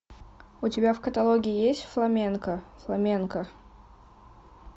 у тебя в каталоге есть фламенко фламенко